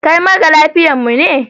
Kai mara lafiyar mu ne?